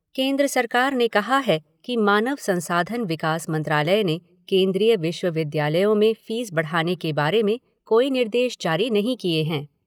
केन्द्र सरकार ने कहा है कि मानव संसाधन विकास मंत्रालय ने केन्द्रीय विश्वविद्यालयों में फ़ीस बढ़ाने बारे कोई निर्देश जारी नहीं किए हैं।